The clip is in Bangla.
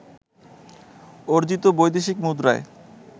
অর্জিত বৈদেশিক মুদ্রায়